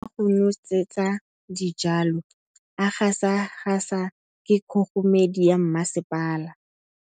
Metsi a go nosetsa dijalo a gasa gasa ke kgogomedi ya masepala.